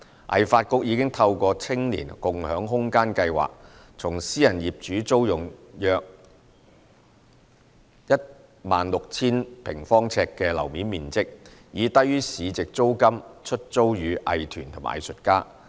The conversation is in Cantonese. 藝發局已透過"青年共享空間計劃"，從私人業主租用約 16,000 平方呎的樓面面積，以低於市值租金出租予藝團和藝術家。